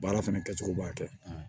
Baara fana kɛcogo b'a kɛ